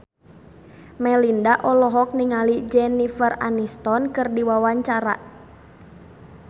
Melinda olohok ningali Jennifer Aniston keur diwawancara